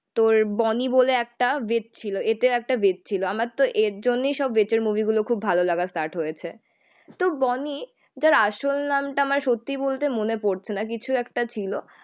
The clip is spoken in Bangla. তোর বনি বলে একটা ছিল. এতে একটা ছিল. আমার তো এর জন্যই সব মুভি গুলো খুব ভালো লাগা স্টার্ট হয়েছে. তো বনি যার আসল নামটা আমার সত্যি বলতে মনে পড়ছে না. কিছু একটা ছিল